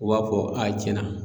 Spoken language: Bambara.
U b'a fɔ cɛnna